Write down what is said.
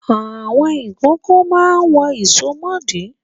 Àwọn ìkókó máa ń wọ ìsomọ́ọ̀dí.